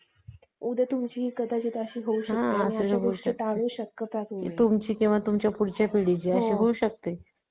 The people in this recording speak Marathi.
काय नाही माझं काय नाही चाललंय आता तेच ते अं ते serial चालू हाय काय ये रिश्ता क्या कहलाता है star plus मध्ये